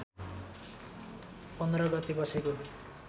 १५ गते बसेको